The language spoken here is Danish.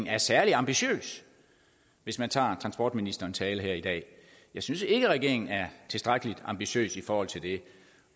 er særlig ambitiøs hvis man tager transportministerens tale her i dag jeg synes ikke regeringen er tilstrækkelig ambitiøs i forhold til det